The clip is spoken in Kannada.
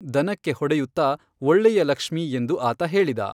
ದನಕ್ಕೆ ಹೊಡೆಯುತ್ತಾ 'ಒಳ್ಳೆಯ ಲಕ್ಷ್ಮೀ,' ಎಂದು ಆತ ಹೇಳಿದ.